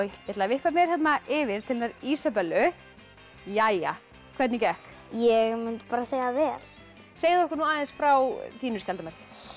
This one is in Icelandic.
ég ætla að vippa mér hérna yfir til hennar Ísabellu jæja hvernig gekk ég mundi bara segja vel segðu okkur aðeins frá þínu skjaldarmerki